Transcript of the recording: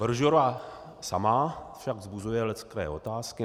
Brožura sama však vzbuzuje leckteré otázky.